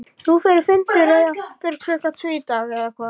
Nú þeir funduðu aftur klukkan tvö í dag, eða hvað?